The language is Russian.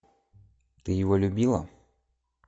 ты его любила